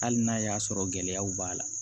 Hali n'a y'a sɔrɔ gɛlɛyaw b'a la